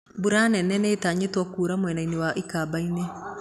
Mbura nene nĩĩtanyĩtwo kuura mwena wa ikamba-inĩ